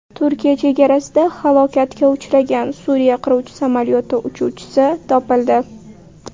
Turkiya chegarasida halokatga uchragan Suriya qiruvchi samolyoti uchuvchisi topildi.